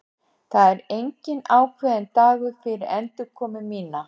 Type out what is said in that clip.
Það er enginn ákveðinn dagur fyrir endurkomu mína.